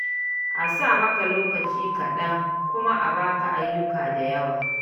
A sa maka lokaci kaɗan kuma a ba ka ayyuka da yawa.